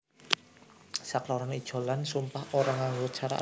Sakloron ijolan sumpah ora nganggo cara adat